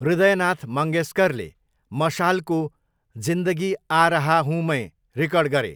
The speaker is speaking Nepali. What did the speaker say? हृदयनाथ मङ्गेशकरले मशालको 'ज़िन्दगी आ रहा हूँ मैं' रेकर्ड गरे।